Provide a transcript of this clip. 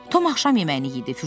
Tom axşam yeməyini yedi.